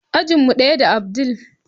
Ajin mu daya da abdul.